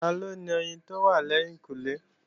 Taló ni oyin tó wà lẹ́yìnkùnlé?